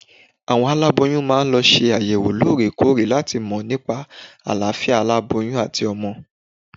Àwọn aláboyún máa ń lọ ṣe àyẹ̀wò lóore kóòrè láti mọ̀ nípa àlàáfíà aláboyún àti ọmọ